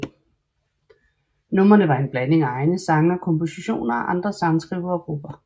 Numrene var en blanding af egne sange og kompositioner af andre sangskrivere og grupper